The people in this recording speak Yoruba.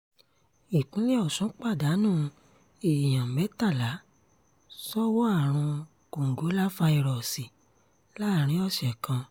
ìpínlẹ̀ ọ̀sùn pàdánù èèyàn mẹ́tàlá sọ́wọ́ àrùn kòǹgóláfàíróòsì láàrin ọ̀sẹ̀ kan